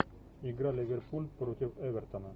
игра ливерпуль против эвертона